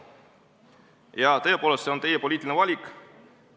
Jaa, tõepoolest, see on teie poliitiline valik.